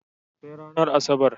Sai ranar Asabar.